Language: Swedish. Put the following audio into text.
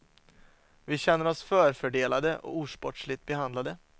Vi känner oss förfördelade och osportsligt behandlade.